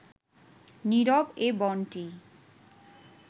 নীরব এ বনটি